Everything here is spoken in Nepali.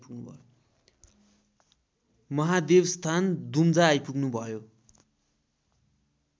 महादेवस्थान दुम्जा आइपुग्नुभयो